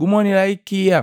gumonila ikia.”